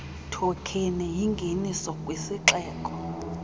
thokheni yingenise kwisixeko